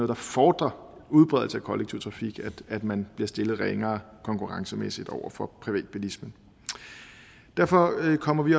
der fordrer udbredelse af kollektiv trafik at man bliver stillet ringere konkurrencemæssigt over for privatbilismen derfor kommer vi